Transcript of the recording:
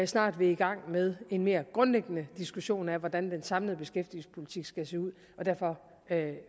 snart vil i gang med en mere grundlæggende diskussion af hvordan den samlede beskæftigelsespolitik skal se ud og derfor